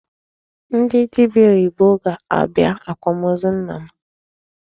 Ndị dibia oyibo ga-abịa akwamozu nna m.